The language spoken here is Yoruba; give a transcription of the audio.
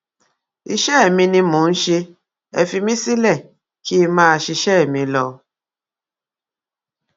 iṣẹ mi ni mò ń ṣe é fi mí sílẹ kí n máa ṣiṣẹ mi lọ